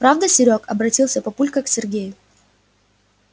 правда серёг обратился папулька к сергею